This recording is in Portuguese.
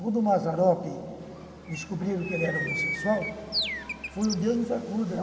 Quando o Mazzaropi descobriram que ele era homossexual, foi um Deus nos acuda.